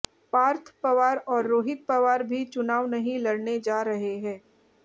पार्थ पवार और रोहित पवार भी चुनाव नहीं लड़ने जा रहे हैं